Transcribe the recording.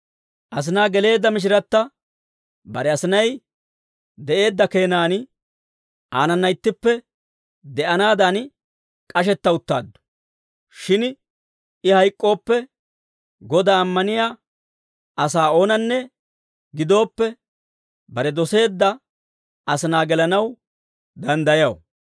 Asinaa geleedda mishiratta bare asinay de'eedda keenan aanana ittippe de'anaadan k'ashetta uttaaddu. Shin I hayk'k'ooppe, Godaa ammaniyaa asaa oonanne gidooppe, bare doseedda asinaa gelanaw danddayaw.